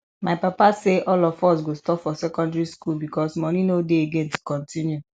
my papa say all of us go stop for secondary school because money no dey again to continue